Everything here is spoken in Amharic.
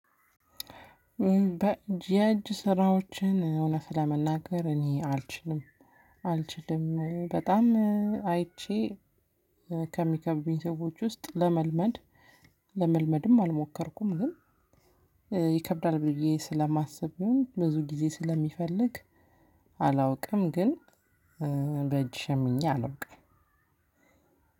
በጀጅ ስራዎችን እውነት ለመናገር እኔ አልችልም። አልችልም በጣም አይቼ ከሚከብዱኝ ሰዎች ውስጥ ለመልመድ ለመልመድም አልሞከርኩም። ግን ይከብዳል ብዬ ስለማስበው ብዙ ጊዜ ስለሚፈልግ። አላውቅም ግን በእጅ ሸምኜ አላውቅም።